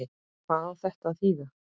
Hvað á þetta að þýða!